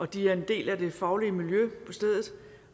de er en del af det faglige miljø på stedet